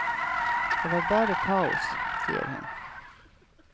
Det var bare kaos, sier hun.